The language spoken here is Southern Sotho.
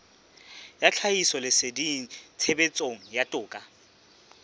ya tlhahisoleseding tshebetsong ya toka